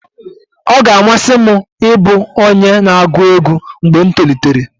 ọ ga-amasị m ịbụ onye na-agụ egwu mgbe m tolitere